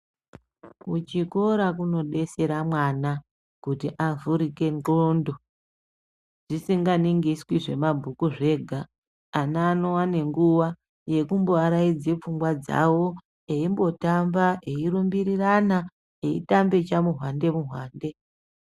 Kuchikora kunodetsera mwana kuti avhurike ndxondo zvisinganingiswi zvemabhuku zvega ana anombowana nguwa yekumboaraidza pfungwa eimbotamba eirumbirirana eitambe chamuhwande muhwande.